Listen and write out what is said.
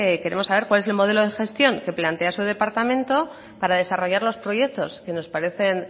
queremos saber cuál es el modelo de gestión que plantea su departamento para desarrollar los proyectos que nos parecen